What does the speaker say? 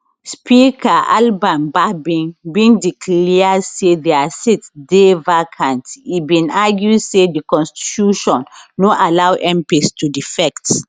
speaker alban bagbin den declare say dia seats dey vacant e bin argue say di constitution no allow mps to defect